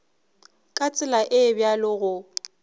ka tsela e bjalo go